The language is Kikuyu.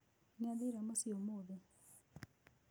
Nĩathire mũciĩ ũmũthĩ.